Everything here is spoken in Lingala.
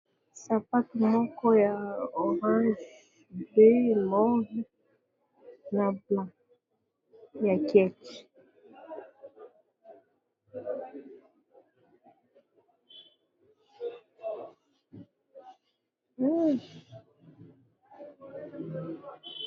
Sapato moko ya orange pe move na blanc ya kecthe.